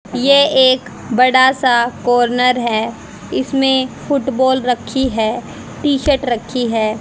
ये एक बड़ा सा कॉर्नर है। इसमें फुटबॉल रखी है। टी-शर्ट रखी है।